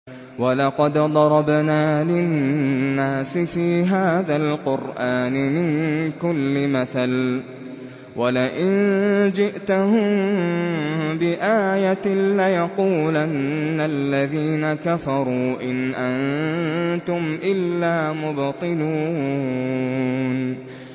وَلَقَدْ ضَرَبْنَا لِلنَّاسِ فِي هَٰذَا الْقُرْآنِ مِن كُلِّ مَثَلٍ ۚ وَلَئِن جِئْتَهُم بِآيَةٍ لَّيَقُولَنَّ الَّذِينَ كَفَرُوا إِنْ أَنتُمْ إِلَّا مُبْطِلُونَ